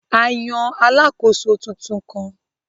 A yàn alàkóso tuntun kàn.